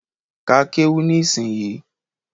Ka kéwú ní ìsinyii